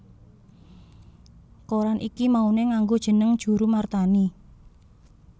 Koran iki mauné nganggo jeneng Djoeroemarthani